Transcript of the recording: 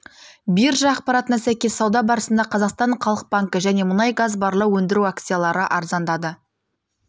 биржа ақпаратына сәйкес сауда барысында қазақстан халық банкі және мұнай газ барлау өндіру акциялары арзандады